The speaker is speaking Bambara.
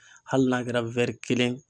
Hali n'a kɛra kelen